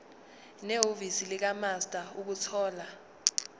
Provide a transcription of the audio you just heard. nehhovisi likamaster ukuthola